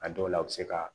A dɔw la u bɛ se ka